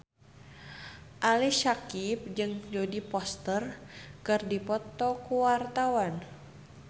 Ali Syakieb jeung Jodie Foster keur dipoto ku wartawan